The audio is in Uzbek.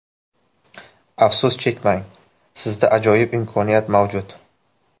Afsus chekmang, sizda ajoyib imkoniyat mavjud!.